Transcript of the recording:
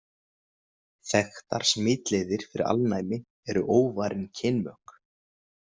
Þekktar smitleiðir fyrir alnæmi eru óvarin kynmök.